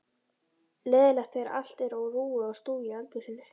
Leiðinlegt þegar allt er á rúi og stúi í eldhúsinu.